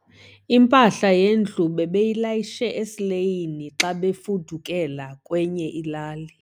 Impahla yendlu bebeyilayishe esileyini xa bebefudukela kwenye ilali.